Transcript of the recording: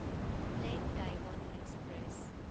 black diamond express